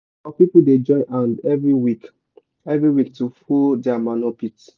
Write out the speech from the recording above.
our people dey join hand every week every week to full di manure pit.